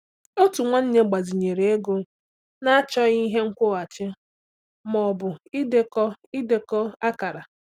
Otu nwanne gbazinyere ego na-achọghị ihe nkwụghachi ma ọ bụ idekọ idekọ akara.